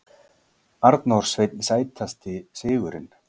Arnór Sveinn Sætasti sigurinn?